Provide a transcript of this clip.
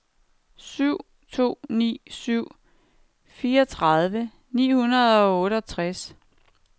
syv to ni syv fireogtredive ni hundrede og otteogtres